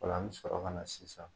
O la an bɛ sɔrɔ ka na sisan.